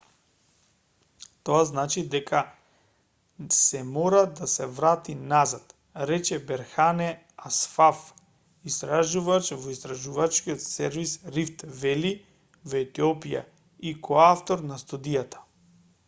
тоа значи дека сѐ мора да се врати назад рече берхане асфав истражувач во истражувачкиот сервис рифт вели во етиопија и коавтор на студијата